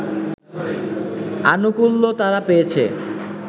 আনুকূল্য তারা পেয়েছে